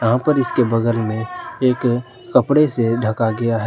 यहां पर इसके बगल में एक कपड़े से ढका गया है।